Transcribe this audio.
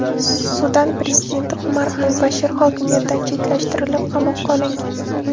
Sudan prezidenti Omar al-Bashir hokimiyatdan chetlashtirilib, qamoqqa olingan.